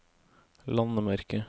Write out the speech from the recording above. landemerke